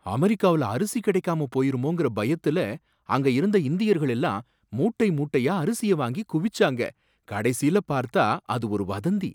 அமெரிக்காவுல அரிசி கிடைக்காம போயிருமோங்கற பயத்துல அங்க இருந்த இந்தியர்கள் எல்லாம் மூட்டை மூட்டையா அரிசிய வாங்கி குவிச்சாங்க, கடைசில பார்த்தா அது ஒரு வதந்தி